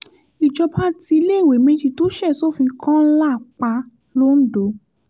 ìjọba tí iléèwé méjì tó ṣe sófin kọ́ńlá pa londo